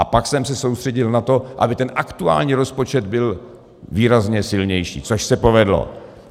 A pak jsem se soustředil na to, aby ten aktuální rozpočet byl výrazně silnější, což se povedlo.